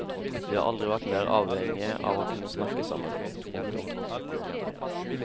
De har aldri vært mer avhengige av å kunne snakke sammen. punktum